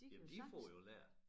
Jamen de får jo lært